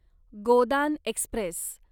Godan Express